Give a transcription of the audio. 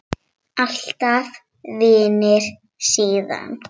Alltaf vinir síðan.